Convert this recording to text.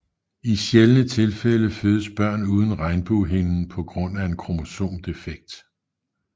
I sjældne tilfælde fødes børn uden regnbuehinden på grund af en kromosom defekt